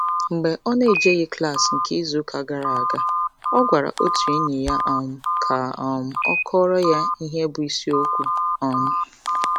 Mgbe ọ n'ejeghị klaasị nke izuụka gara aga, ọ gwara otu enyi ya um ka um ọ kọọrọ ya ihe bụ isiokwu um